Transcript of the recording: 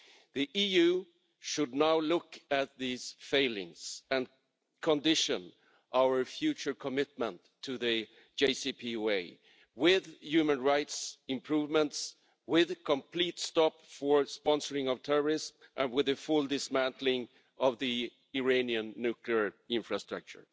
The EU should now look at these failings and condition our future commitment to the JCPOA on human rights improvements, a complete stop to the sponsoring of terrorists, and the full dismantling of the Iranian nuclear infrastructure.